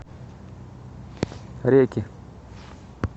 реки